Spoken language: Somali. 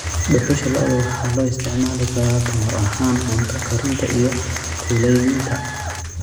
Dhuxusha lo'da waxaa loo isticmaali karaa tamar ahaan cunto karinta iyo kuleylinta.